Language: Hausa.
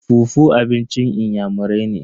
fufu abincin inyamurai ne.